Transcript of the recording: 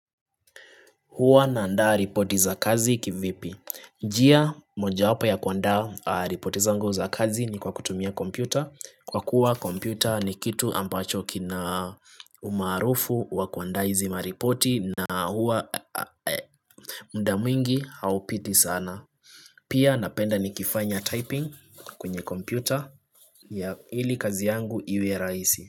Huwa na andaa ripoti za kazi kivipi. Njia moja wapo ya kuandaa ripoti zangu za kazi ni kwa kutumia kompyuta. Kwa kuwa kompyuta ni kitu ambacho kina umaarufu wa kuandaa hizi maripoti na huwa mda mwingi haupiti sana. Pia napenda nikifanya typing kwenye kompyuta ili kazi yangu iwe rahisi.